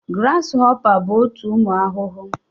Grasshoppers bụ otu ụmụ ahụhụ